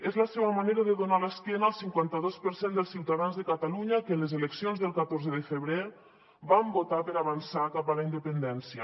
és la seva manera de donar l’esquena al cinquantados per cent dels ciutadans de catalunya que en les eleccions del catorze de febrer van votar per avançar cap a la independència